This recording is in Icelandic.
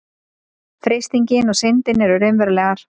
freistingin og syndin eru raunverulegar